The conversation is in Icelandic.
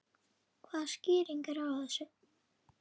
Hvaða skýring er á þessu?